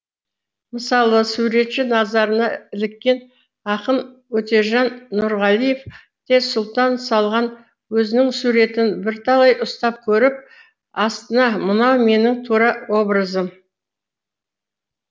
мысалы суретші назарына іліккен ақын өтежан нұрғалиев те сұлтан салған өзінің суретін бірталай ұстап көріп астына мынау менің тура образым